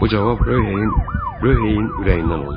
Bu cavab Röh heyin ürəyindən oldu.